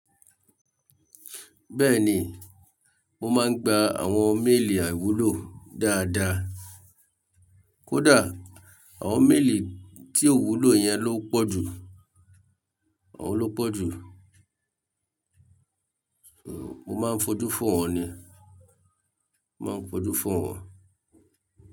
Bẹ́ẹ̀ni, mo máa ń gba àwọn mélìì àiwúlò dáadáa. Kódà àwọn mélìì tí ò wúlò yẹn ló pọ̀ jú, àwọn ló pọ̀ jú. Mo máa ń fojú fo wọn ni, mo máa ń fojú fo wọn.